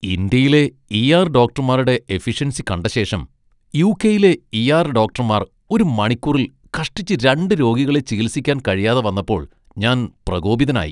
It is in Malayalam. ഇന്ത്യയിലെ ഇ.ആർ.ഡോക്ടർമാരുടെ എഫിഷ്യൻസി കണ്ട ശേഷം , യു.കെ. യിലെ ഇ.ആർ. ഡോക്ടർമാർ ഒരു മണിക്കൂറിൽ കഷ്ടിച്ച് രണ്ട് രോഗികളെ ചികിത്സിക്കാൻ കഴിയാതെ വന്നപ്പോൾ ഞാൻ പ്രകോപിതനായി.